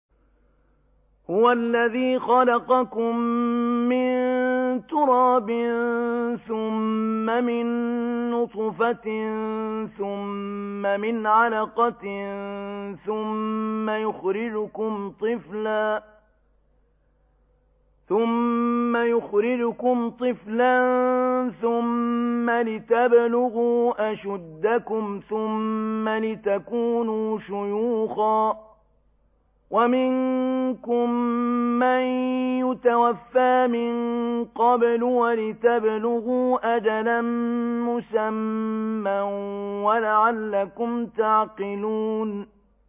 هُوَ الَّذِي خَلَقَكُم مِّن تُرَابٍ ثُمَّ مِن نُّطْفَةٍ ثُمَّ مِنْ عَلَقَةٍ ثُمَّ يُخْرِجُكُمْ طِفْلًا ثُمَّ لِتَبْلُغُوا أَشُدَّكُمْ ثُمَّ لِتَكُونُوا شُيُوخًا ۚ وَمِنكُم مَّن يُتَوَفَّىٰ مِن قَبْلُ ۖ وَلِتَبْلُغُوا أَجَلًا مُّسَمًّى وَلَعَلَّكُمْ تَعْقِلُونَ